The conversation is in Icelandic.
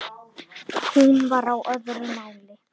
Hún var á öðru máli.